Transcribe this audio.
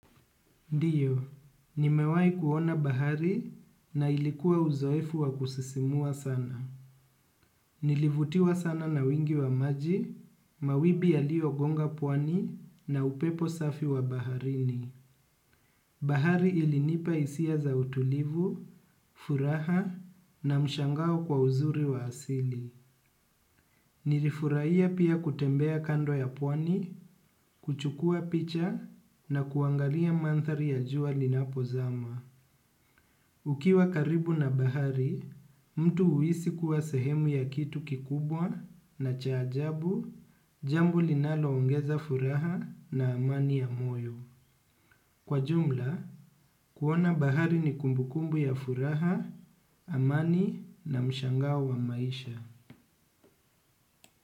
Ndiyo, nimewai kuona bahari na ilikuwa uzoefu wa kususimua sana. Nilivutiwa sana na wingi wa maji, mawimbi yaliyogonga pwani na upepo safi wa baharini. Bahari ilinipa hisia za utulivu, furaha na mshangao kwa uzuri wa asili. Nilifurahia pia kutembea kando ya pwani, kuchukua picha na kuangalia manthari ya jua linapozama. Ukiwa karibu na bahari, mtu huisi kuwa sehemu ya kitu kikubwa na cha ajabu, jambo linaloongeza furaha na amani ya moyo. Kwa jumla, kuona bahari ni kumbukumbu ya furaha, amani na mshangao wa maisha.